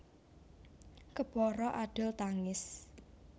Kepara adol tangis